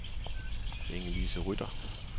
Ingelise Rytter